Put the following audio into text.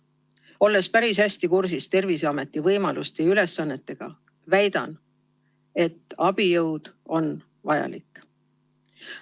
Olles päris hästi kursis Terviseameti võimaluste ja ülesannetega, väidan, et abijõud on vajalik.